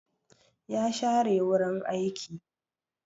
Ya share wurin aiki.